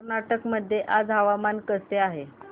कर्नाटक मध्ये आज हवामान कसे आहे